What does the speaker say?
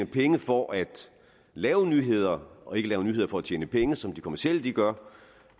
penge for at lave nyheder og ikke laver nyheder for at tjene penge som de kommercielle gør